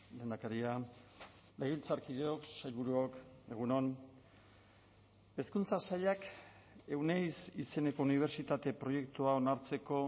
lehendakaria legebiltzarkideok sailburuok egun on hezkuntza sailak euneiz izeneko unibertsitate proiektua onartzeko